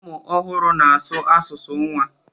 ụmụ ọhụrụ na-asụ asụsụ nwa